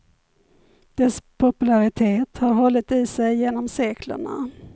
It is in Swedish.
Dess popularitet har hållit i sig genom seklerna.